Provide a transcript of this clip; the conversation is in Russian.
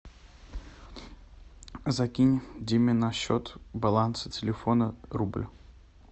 закинь диме на счет баланса телефона рубль